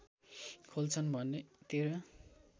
खोल्छन् भने १३